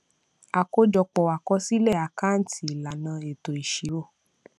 àkójọpọ akosile àkáǹtì ìlànà eto ìṣirò